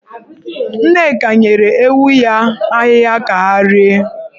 Nneka nyere ewu ya ahịhịa ka ha rie.